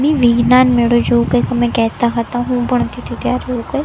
વિજ્ઞાન મેળો જેવુ કઈ તમે કહેતા હતા હું પણ એવુ કઈ.